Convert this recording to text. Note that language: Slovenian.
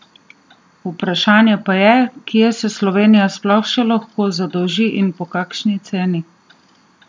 Vprašanje pa je, kje se Slovenija sploh še lahko zadolži in po kakšni ceni?